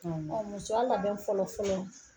Musoya labɛn fɔlɔ fɔlɔ